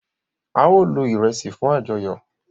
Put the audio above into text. ao lò iresi fún ajoyọ.